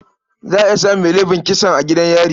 Za a iya samun mai laifin kisan a gidan yari.